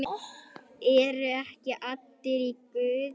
ERU EKKI ALLIR Í GUÐI?